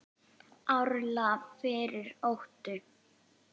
árla fyrir óttu